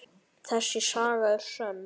Þessi saga er sönn.